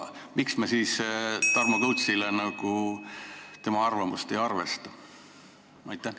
Miks me siis Tarmo Kõutsi arvamust ei arvesta?